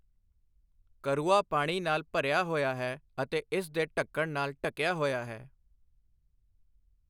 ਕਰੂਆ ਪਾਣੀ ਨਾਲ ਭਰਿਆ ਹੋਇਆ ਹੈ ਅਤੇ ਇਸ ਦੇ ਢੱਕਣ ਨਾਲ ਢੱਕਿਆ ਹੋਇਆ ਹੈ।